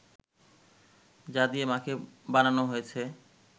যা দিয়ে মা’কে বানানো হয়েছে